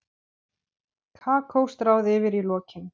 Kakó stráð yfir í lokin.